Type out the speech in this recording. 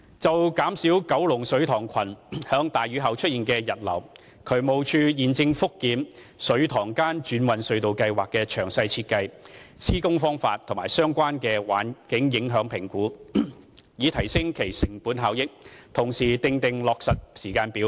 就減少九龍水塘群在大雨後出現溢流，渠務署現正覆檢"水塘間轉運隧道計劃"的詳細設計、施工方法及相關環境影響評估，以提升其成本效益，同時訂定落實時間表。